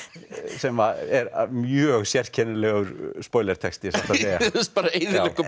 sem er mjög sérkennilegur texti satt að segja bara eyðileggur